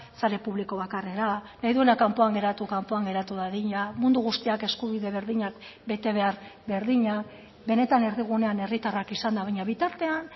sare publiko bakarrera nahi duena kanpoan geratu kanpoan geratu dadila mundu guztiak eskubide berdinak bete behar berdina benetan erdigunean herritarrak izan da baina bitartean